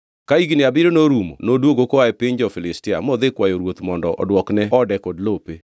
Ka higni abiriyo norumo noduogo koa e piny jo-Filistia modhi kwayo ruoth mondo odwokne ode kod lope.